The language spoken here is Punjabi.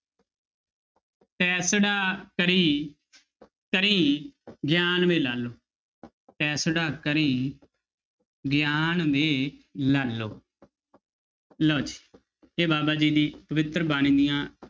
ਤੈਸੜਾ ਕਰੀ ਕਰੀ ਗਿਆਨੁ ਵੇ ਲਾਲੋ ਤੈਸੜਾ ਕਰੀ ਗਿਆਨੁ ਵੇ ਲਾਲੋ ਲਓ ਜੀ ਇਹ ਬਾਬਾ ਜੀ ਦੀ ਪਵਿੱਤਰ ਬਾਣੀ ਦੀਆਂ